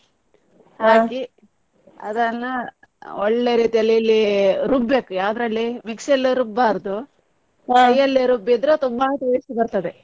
, ಅದನ್ನ ಒಳ್ಳೆ ರೀತಿಯಲ್ಲಿ ಇಲ್ಲಿ ರುಬ್ಬಬೇಕು ಯಾವುದ್ರಲ್ಲಿ mixie ಯಲ್ಲಿ ರುಬ್ಬಬಾರದು ರುಬ್ಬಿದ್ರೆ ತುಂಬಾ taste ಬರ್ತದೆ.